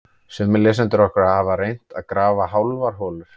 Sumir lesendur okkar hafa reynt að grafa hálfar holur.